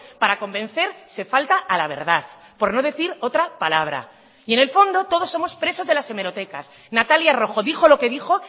para convencer se falta a la verdad por no decir otra palabra y en el fondo todos somos presos de las hemerotecas natalia rojo dijo lo que dijo